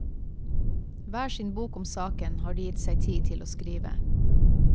Hver sin bok om saken har de gitt seg tid til å skrive.